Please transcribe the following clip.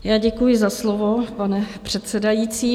Já děkuji za slovo, pane předsedající.